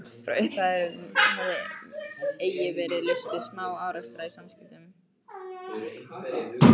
Frá upphafi hafði eigi verið laust við smá-árekstra í samskiptum